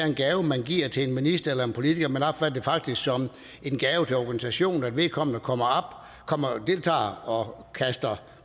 en gave man giver til en minister eller politiker men opfatter det faktisk som en gave til organisationen at vedkommende kommer og deltager og